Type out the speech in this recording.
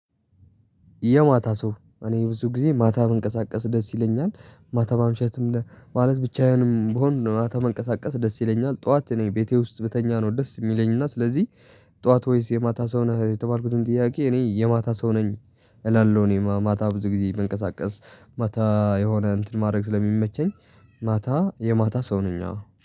የማታ ሰው እኔ ብዙ ጊዜ ማታ መንቀሳቀስ ደስ ይለኛል ማታ ማምሸትም ለ ማለት ብቻዬንም ብሆን ነው በማታ መንቀሳቀስ ደስ ይለኛል። ጠዋት እኔ ቤቴ ውስጥ ብተኛ ነው ደስ የሚለኝና ስለዚህ የጠዋት ወይስ የማታ ሰው ነህ? የተባልኩትን ጥያቄ እኔ የማታ ሰው ነኝ። እላለሁ እኔ ማታ ብዙ ጊዜ ብንቀሳቀስ ማታ የሆነ እንትን ማድረግ ስለሚመቸኝ። ማታ የማታ ሰው ነኝ። አዎ